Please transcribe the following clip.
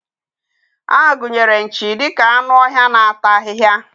A gụnyere nchi dị ka anụ ọhịa na-ata ahịhịa.